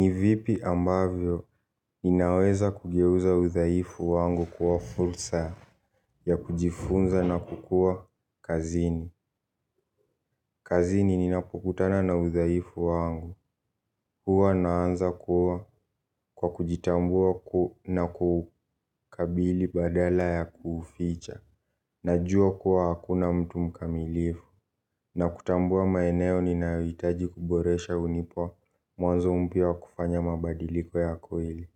Ni vipi ambavyo ninaweza kugeuza udhaifu wangu kuwa fursa ya kujifunza na kukuwa kazini. Kazini ninapokutana na udhaifu wangu hua naanza kuwa kwa kujitambua na kukabili badala ya kuficha. Najua kuwa hakuna mtu mkamilifu. Na kutambua maeneo ninayohitaji kuboresha unipa mwanzo mpya wa kufanya mabadiliko ya kweli.